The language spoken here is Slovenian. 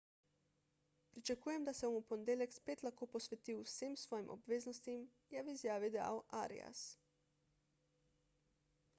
pričakujem da se bom v ponedeljek spet lahko posvetil vsem svojim obveznostim je v izjavi dejal arias